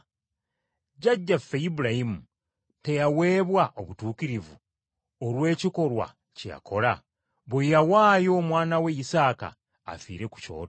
Jjajjaffe Ibulayimu teyaweebwa obutuukirivu olw’ekikolwa kye yakola, bwe yawaayo omwana we lsaaka, afiire ku kyoto?